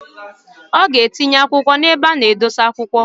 Oga etinye kwa ebe ana edosi akwukwọ,